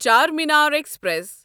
Charminar express